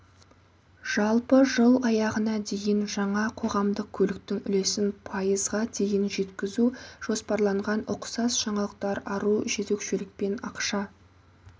жалпы жыл аяғына дейін жаңа қоғамдық көліктің үлесін пайызғадейін жеткізу жоспарланған ұқсас жаңалықтар ару жөзекшелікпен ақша